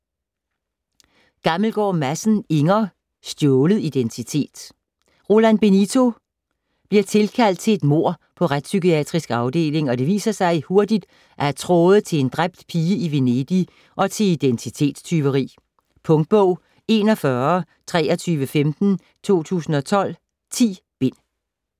Gammelgaard Madsen, Inger: Stjålet identitet Roland Benito bliver tilkaldt til et mord på Retspsykiatrisk Afdeling, og det viser sig hurtigt at have tråde til en dræbt pige i Venedig og til identitetstyveri. Punktbog 412315 2012. 10 bind.